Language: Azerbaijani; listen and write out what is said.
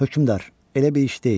Hökümdar, elə bir iş deyil.